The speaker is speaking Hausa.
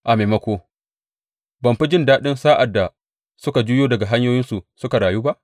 A maimako, ban fi jin daɗi sa’ad da suka juyo daga hanyoyinsu suka rayu ba?